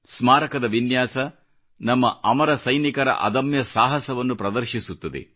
ಸ್ಮಾರಕದ ವಿನ್ಯಾಸ ನಮ್ಮ ಅಮರ ಸೈನಿಕರ ಅದಮ್ಯ ಸಾಹಸವನ್ನು ಪ್ರದರ್ಶಿಸುತ್ತದೆ